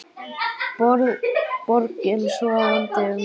Borgin sofandi um miðja nótt.